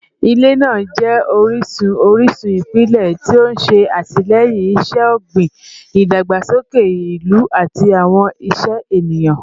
Ilẹ naa jẹ orisun orisun ipilẹ ti o ṣe atilẹyin iṣẹ-ogbin, idagbasoke ilu, ati awọn iṣẹ eniyan